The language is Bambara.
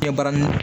Kɛ barani